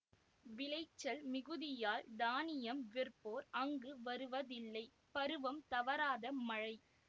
விளைச்சல் மிகுதியால் தானியம் விற்போர் அங்கு வருவதில்லைபருவம் தவறாத மழை